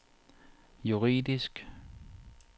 juridisk